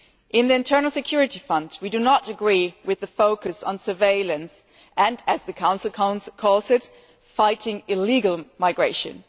In the Internal Security Fund we do not agree with the focus on surveillance and, as the Council calls it, fighting illegal migration'.